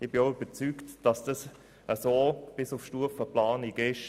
Ich bin überzeugt, dass dies bis auf Stufe Planung so ist.